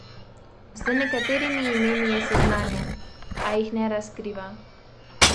Z nekaterimi imeni je seznanjen, a jih ne razkriva.